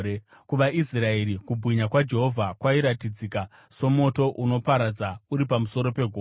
KuvaIsraeri, kubwinya kwaJehovha kwairatidzika somoto unoparadza uri pamusoro pegomo.